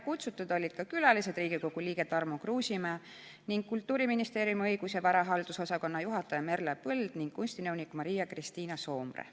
Kutsutud olid ka külalised, Riigikogu liige Tarmo Kruusimäe, Kultuuriministeeriumi õigus- ja varahaldusosakonna juhataja Merle Põld ning kunstinõunik Maria-Kristiina Soomre.